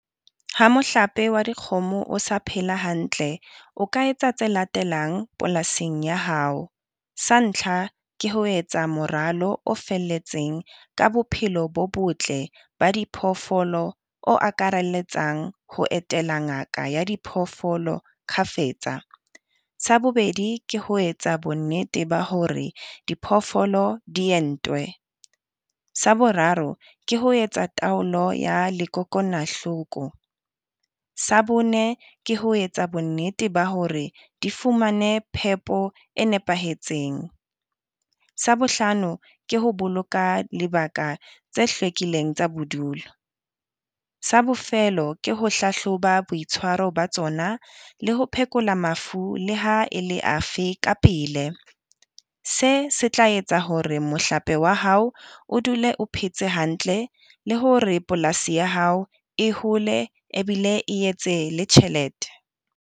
Ha mohlape wa dikgomo o sa phela hantle, o ka etsa tse latelang polasing ya hao, sa ntlha ke ho etsa moralo o felletseng ka bophelo bo botle ba di phoofolo o akaraletsang ho etela ngaka ya diphoofolo kgafetsa. Sa bobedi ke ho etsa bonnete ba hore diphoofolo di entwe, sa boraro ke ho etsa taolo ya lekokonahloko, sa bone ke ho etsa bonnete ba hore di fumane phepo e nepahetseng. Sa bohlano ke ho boloka lebaka tse hlwekileng tsa bodulo, sa bofelo ke ho hlahloba boitshwaro ba tsona le ho phekola mafu Le ha e le afe ka pele, se se tla etsa hore mohlape wa hao o dule o phetse hantle le hore polasi ya hao e hole ebile e etse le tjhelete.